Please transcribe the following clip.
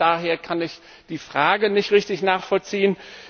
Daher kann ich die Frage nicht richtig nachvollziehen.